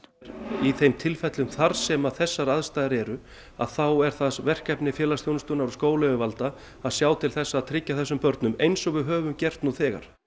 í þeim tilfellum þar sem þessar aðstæður eru þá er það verkefni félagsþjónustunnar og skólayfirvalda að sjá til þess að tryggja þessum börnum eins og við höfum gert nú þegar